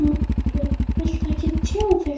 Þorbjörn: Viltu ekki tjá þig?